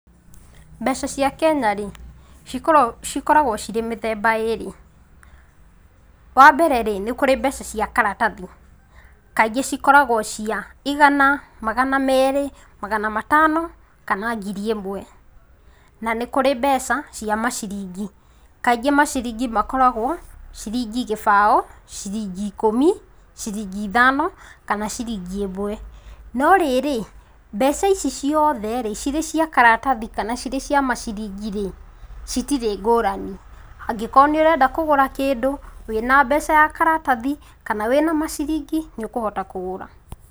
Mbeca cia Kenya rĩ cikoragwo cirĩ mithemba ĩrĩ; wambere rĩ nĩkũrĩ mbeca cia karatathi kaingĩ cikoragwo cia igana, magana meri ,magana matano, kana ngiri ĩmwe, na nĩkũrĩ mbeca cia maciringi kaingĩ maciringi makoragwo ciringi kĩbao, ciringi ikũmi, ciringi ithano kana ciringi ĩmwe.No rĩrĩ mbeca ici ciothe rĩ cirĩ cia karatathi kana cirĩ cia maciringi rĩ, citirĩ ngũrani angĩkorwo nĩũrenda kũgũra kĩndũ wĩna mbeca ya karatathi kana wĩna maciringi nĩũkũhota kũgũra.